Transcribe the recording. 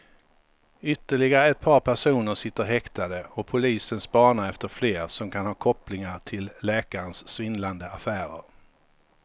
Ytterligare ett par personer sitter häktade och polisen spanar efter fler som kan ha kopplingar till läkarens svindlande affärer.